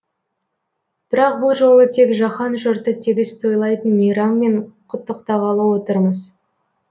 бірақ бұл жолы тек жаһан жұрты тегіс тойлайтын мейраммен құттықтағалы отырмыз